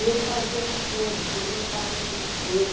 E ele fazia essas coisas, ele gostava de mexer.